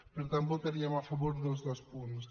per tant votaríem a favor dels dos punts